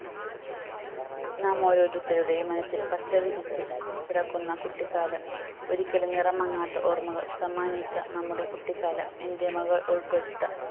നാം ഓരോരുത്തരുടെയും മനസ്സിൽ പച്ച വിരിച്ചു കിടക്കുന്ന കുട്ടിക്കാലം ഒരിക്കലും നിറം മങ്ങാത്ത ഓർമ്മകൾ സമ്മാനിച്ച നമ്മുടെ കുട്ടിക്കാലം എൻ്റെ മകൾ ഉൾപ്പെട്ട